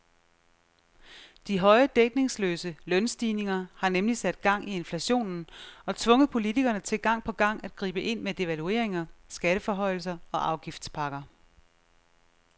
De høje dækningsløse lønstigninger har nemlig sat gang i inflationen og tvunget politikerne til gang på gang at gribe ind med devalueringer, skatteforhøjelser og afgiftspakker.